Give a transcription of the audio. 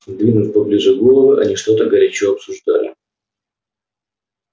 сдвинув поближе головы они что-то горячо обсуждали